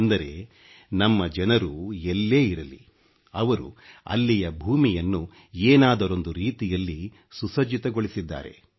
ಅಂದರೆ ನಮ್ಮ ಜನರು ಎಲ್ಲೇ ಇರಲಿ ಅವರು ಅಲ್ಲಿಯ ಭೂಮಿಯನ್ನು ಏನಾದರೊಂದು ರೀತಿಯಲ್ಲಿ ಸುಸಜ್ಜಿತಗೊಳಿಸಿದ್ದಾರೆ